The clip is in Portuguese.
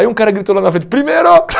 Aí um cara gritou lá na frente, primeiro!